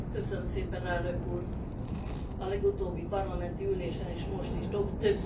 A legutóbbi parlamenti ülésen és most is több szó esett a szlovák nyelvtörvényről.